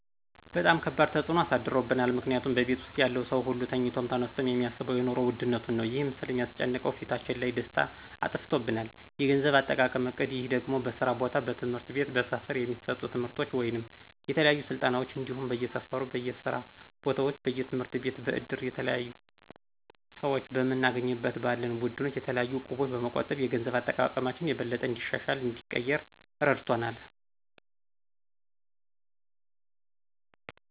በጣም ከባድ ተፅኖ እሳድሯል ምክንያቱም በቤት ውስጥ ያለው ሰው ሁሉ ተኝቶም ተነስቶም የሚያሳስበው የኑሮ ውድነት ነው ይህም ስለሚስጨንቀው ፊታችን ላይ ደስታ አጥፍቶብናል። የገንዘብ አጠቃቀም እቅድ ይህ ደግሞ በስራ ቦታ፣ በትምህርት ቤት፣ በስፈር የሚሰጡ ትምርቶች ወይም የተለያዩ ስልጠናዎች እንዲሁም በየሰፈሩ፣ በየስራ ቦታዎች፣ በየትምህርትቤት በእድር፣ የተለያሁ ሰዎች በምንገናኝበት ባለን ቡድኖች የተለያዩ እቁቦች በመቆጠብ የገንዘብ አጠቃቀማችን የበለጠ እንዲሻሻልና እንዲቀየር እረድቶናል።